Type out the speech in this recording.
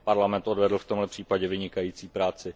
Parlament odvedl v tomhle případě vynikající práci.